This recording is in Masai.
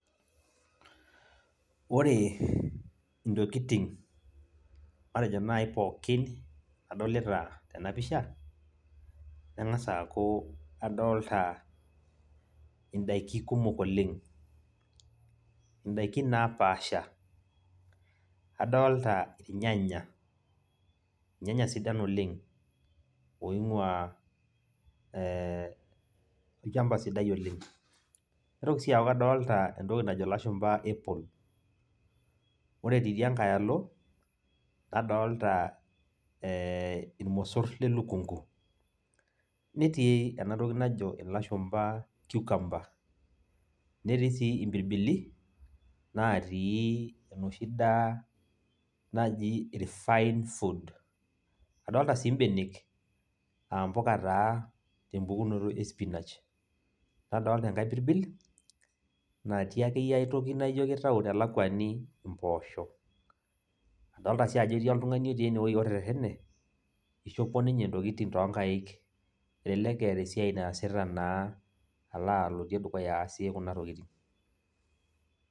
Ore intokiting matejo nai pookin nadolita tenapisha, nang'asa aku adolta idaiki kumok oleng. Idaikin napaasha. Adolta irnyanya, irnyanya sidan oleng, oing'ua olchamba sidai oleng. Naitoki si aku kadolta entoki najo ilashumpa apple. Ore tidia nkae alo, nadolta irmosor lelukunku. Netii enatoki najo ilashumpa cucumber. Netii si impirbili, natii enoshi daa naji refined food. Adolta si benek, ampuka taa tempukunoto e spinach. Nadolta enkae pirbil, natii akeyie ai toki naijo kitau telakwani impoosho. Adolta si ajo etii oltung'ani otii enewoi oterrerrene, ishopo ninye intokiting tonkaik, elelek eeta esiai naasita naa, alo aloitie dukuya aasie kuna tokiting.